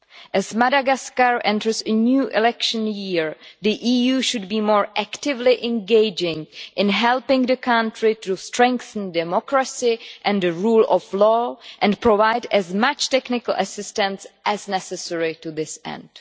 As Madagascar enters a new election year, the EU should be more actively engaging in helping the country to strengthen democracy and the rule of law and should provide as much technical assistance as necessary to this end.